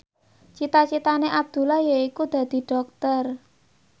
cita citane Abdullah yaiku dadi dokter